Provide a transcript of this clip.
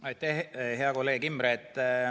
Aitäh, hea kolleeg Imre!